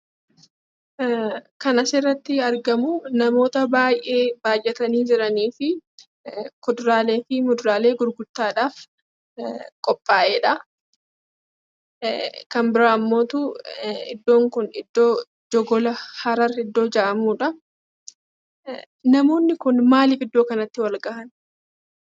Kan asirratti argamu namoota baay'ee baay'atanii jiraniifii kuduraalee fi muduraalee gurgurtaadhaaf qophaa'edha. Kan biraammoo iddoon kun iddoo Jogola Harar iddoo jedhamudha. Namoonni kun maaliif iddoo kanatti wal gahan?